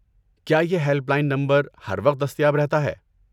کیا یہ helpline number ہر وقت دستیاب رہتا ہے؟